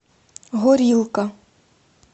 горилка